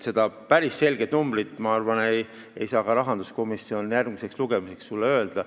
Seda päris selget numbrit, ma arvan, ei saa rahanduskomisjon ka järgmisel lugemisel sulle öelda.